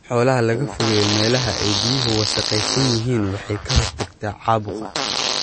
In xoolaha laga fogeeyo meelaha ay biyuhu wasakhaysan yihiin waxay ka hortagtaa caabuqa.